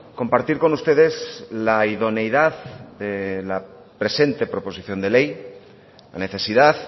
compartir con ustedes la idoneidad de la presente proposición de ley la necesidad